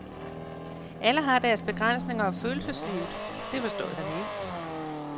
Alle har deres begrænsninger, og følelseslivet, det forstod han ikke.